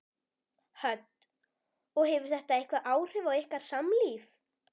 Hödd: Og hefur þetta eitthvað áhrif á ykkar samlíf?